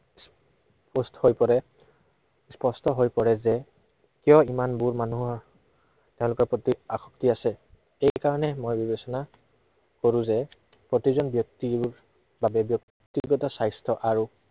সুস্থ হৈ পৰে। স্পষ্ট হৈ পৰে যে, কিয় ইমানবোৰ মানুহৰ, health ৰ প্ৰতি আসক্তি আছে। এই কাৰনই মই বিবেচনা কৰো যে প্ৰতিজন ব্য়ক্তিৰ বাবে ব্য়ক্তিগত স্বাস্থ্য় আৰু